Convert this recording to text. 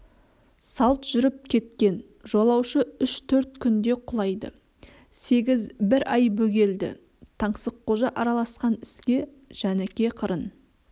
салт жүріп кеткен жолаушы үш-төрт күнде құлайды сегіз бір ай бөгелді таңсыққожа араласқан іске жәніке қырын